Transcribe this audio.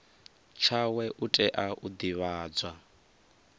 tshawe u tea u divhadzwa